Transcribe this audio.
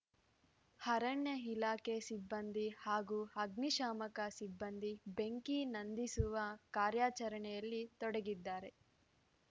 ಅರಣ್ಯ ಇಲಾಖೆ ಸಿಬ್ಬಂದಿ ಹಾಗೂ ಅಗ್ನಿಶಾಮಕ ಸಿಬ್ಬಂದಿ ಬೆಂಕಿ ನಂದಿಸುವ ಕಾರ್ಯಾಚರಣೆಯಲ್ಲಿ ತೊಡಗಿದ್ದಾರೆ